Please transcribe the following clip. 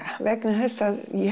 vegna þess að ég